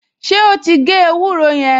Ṣé ó ti gé ewúro yẹn?